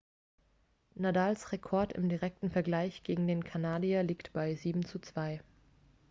nadals rekord im direkten vergleich gegen den kanadier liegt bei 7:2